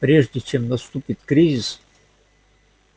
прежде чем наступит кризис